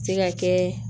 Se ka kɛ